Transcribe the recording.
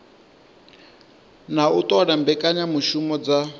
na u ṱola mbekanyamushumo dza